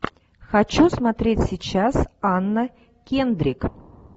хочу смотреть сейчас анна кендрик